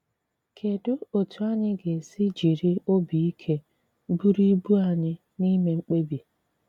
Kedụ etú anyị ga esi jiri obi ike buru ibu anyị n’ime mkpebi?